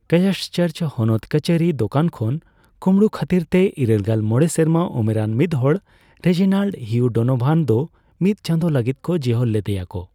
Christchurch ᱦᱚᱱᱚᱛ ᱠᱟᱹᱪᱷᱟᱹᱨᱤ, ᱫᱚᱠᱟᱱ ᱠᱷᱚᱱ ᱠᱩᱸᱢᱵᱲᱩ ᱠᱷᱟᱹᱛᱤᱨᱛᱮ ᱤᱨᱟᱹᱞᱜᱮᱞ ᱢᱚᱲᱮ ᱥᱮᱨᱢᱟ ᱩᱢᱮᱨᱟᱱ ᱢᱤᱫᱦᱚᱲ, ᱨᱮᱡᱤᱱᱟᱞᱰ ᱦᱤᱭᱩ ᱰᱳᱱᱳᱵᱷᱟᱱ ᱫᱚ ᱢᱤᱫ ᱪᱟᱸᱫᱳ ᱞᱟᱹᱜᱤᱫ ᱠᱚ ᱡᱮᱦᱚᱞ ᱞᱮᱫᱮᱭᱟᱠᱚ ᱾